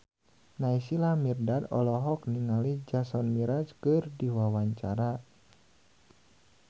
Naysila Mirdad olohok ningali Jason Mraz keur diwawancara